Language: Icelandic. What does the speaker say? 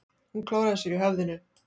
Hún klóraði sér í höfðinu.